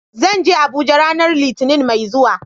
Zan je Abuja ranar Litinin mai zuwa.